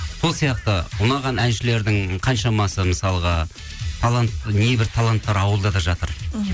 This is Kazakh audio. сол сияқты ұнаған әншілердің қаншамасы мысалға небір таланттар ауылда да жатыр мхм